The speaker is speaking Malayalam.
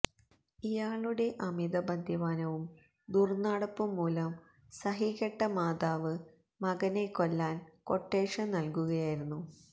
ഇയാളുടെ അമിതമദ്യപാനവും ദുര്നടപ്പും മൂലം സഹികെട്ട മാതാവ് മകനെ കൊല്ലാന് ക്വട്ടേഷന് നല്കുകയായിരുന്നു